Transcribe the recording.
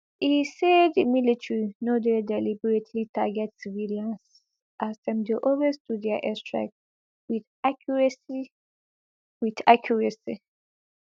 e say di military no dey deliberately target civilians as dem dey always do dia airstrikes wit accuracy wit accuracy